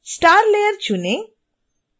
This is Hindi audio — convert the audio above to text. star लेयर चुनें